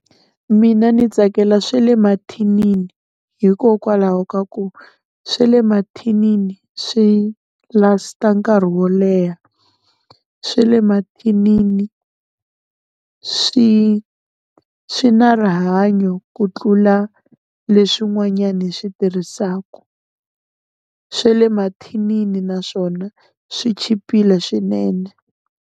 Mina ni tsakela swe le mathinini hikokwalaho ka ku swa le mathinini swi last-a nkarhi wo leha, swa le mathinini swi swi na rihanyo ku tlula leswin'wanyani hi swi tirhisaku, swa le mathinini naswona swi chipile swinene.